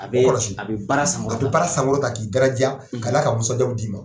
A bɛ, kɔlɔsi, a bɛ baara sankɔrɔta, a be baara sankɔrɔta k'i daraja, ka n'a ka musitajabu d'i ma.